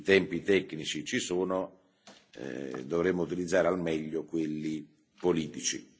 I tempi tecnici ci sono, dovremo utilizzare al meglio quelli politici.